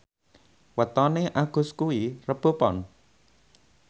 wetone Agus kuwi Rebo Pon